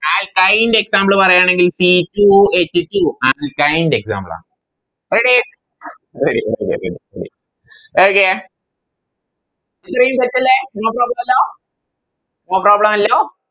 Alkine ൻറെ Example പറയുവാണെങ്കിൽ C two h two alkine ൻറെ Example ആണ് Ready ready ready ready okay ഇത്രയും Set അല്ലെ No problem അല്ലോ No problem അല്ലോ